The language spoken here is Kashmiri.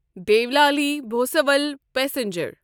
دیولالی بھوسَول پَسنجر